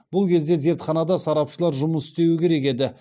бұл кезде зертханада сарапшылар жұмыс істеуі керек еді